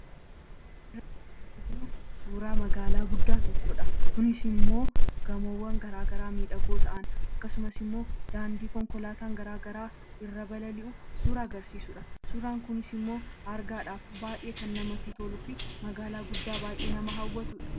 Suuraa kanaa gadii irratti kan argamu suuraa magaalaa guddoo tokkoo dha. Kunis immoo gamoowwaan addaa addaa kan of keessaa qabu fi daandiiwwaan konkolaataa garaa garaa kan of keessaa qabuu dha. Kunis argaadhaaf kan namatti toluu fi hawwatuu dha.